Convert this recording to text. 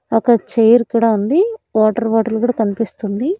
ఒక చైర్ కూడా ఉంది. వాటర్ బాటిల్ కూడా కనిపిస్తుంది.